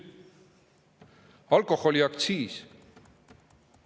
Alkoholiaktsiis.